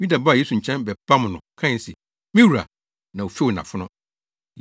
Yuda baa Yesu nkyɛn bɛbam no kae se, “Me wura!” Na ofew nʼafono.